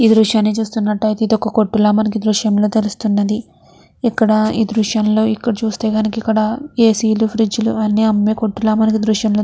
ఈ దృశ్యాన్ని చూస్తున్నటు అయితే ఇది ఒక కొట్టు లాగా మనకి తెలుస్తూ ఉన్నది ఇక్కడ ఈ దృశ్యంలో చూస్తే కనుక అక్కడ ఏ. సీ. లు ఫ్రిజ్ లు అన్ని అమ్ముతున్నారు మనకి దృశ్యంలో తెలుస్తుంది.